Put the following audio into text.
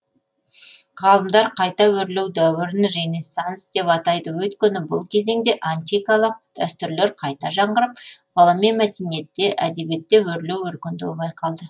ғалымдар қайта өрлеу дәуірін ренессанс деп атайды өйткені бұл кезеңде антикалық дәстүрлер қайта жаңғырып ғылым мен мәдениетте әдебиетте өрлеу өркендеу байқалды